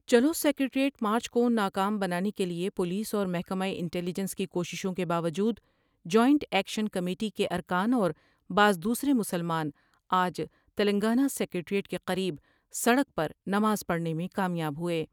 چلوسکریٹریٹ march کو نا کام بنانے کے لئے پولیس اور محکمہ انٹلی جنس کی کوششوں کے باوجود جوائنٹ ایکشن کمیٹی کے ارکان اور بعض دوسرے مسلمان آج تلنگانہ سکریٹریٹ کے قریب سڑک پر نماز پڑھنے میں کامیاب ہوۓ ۔